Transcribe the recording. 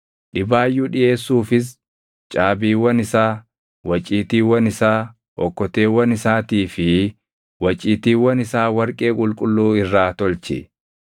Dhibaayyuu dhiʼeessuufis caabiiwwan isaa, waciitiiwwan isaa, okkoteewwan isaatii fi waciitiiwwan isaa warqee qulqulluu irraa tolchi.